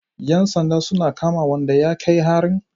Yan sanda sun kama wanda ya kai harin?